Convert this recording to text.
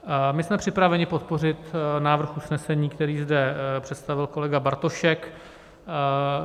My jsme připraveni podpořit návrh usnesení, který zde představil kolega Bartošek.